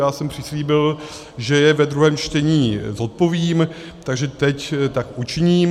Já jsem přislíbil, že je ve druhém čtení zodpovím, takže teď tak učiním.